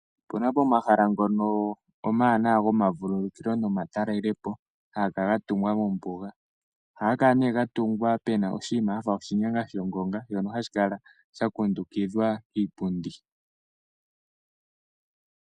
Opuna omahala ngono omawanawa goma vululukilo nomatalele po haga kala ga tungwa Mombuga. Ohaga kala nee ga tungwa pena oshiima shafa oshinyanga sho honga shafa shono hashi kala sha kundukidhwa kiipundi.